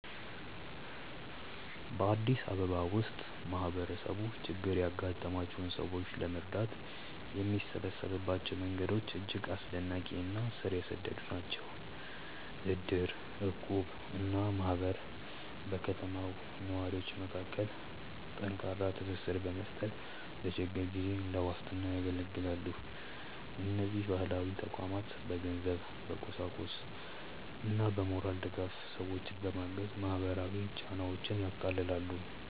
በአዲስ አበባ ውስጥ ማህበረሰቡ ችግር ያጋጠማቸውን ሰዎች ለመርዳት የሚሰበሰብባቸው መንገዶች እጅግ አስደናቂ እና ስር የሰደዱ ናቸው። እድር፣ እቁብ እና ማህበር በከተማው ነዋሪዎች መካከል ጠንካራ ትስስር በመፍጠር ለችግር ጊዜ እንደ ዋስትና ያገለግላሉ። እነዚህ ባህላዊ ተቋማት በገንዘብ፣ በቁሳቁስና በሞራል ድጋፍ ሰዎችን በማገዝ ማህበራዊ ጫናዎችን ያቃልላሉ።